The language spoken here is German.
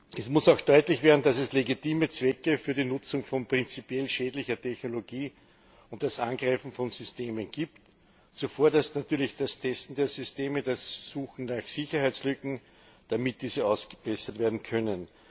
Es muss auch deutlich werden, dass es legitime Zwecke für die Nutzung von prinzipiell schädlicher Technologie und das Angreifen von Systemen gibt, zuvorderst natürlich das Testen der Systeme, das Suchen nach Sicherheitslücken, damit diese ausgebessert werden können.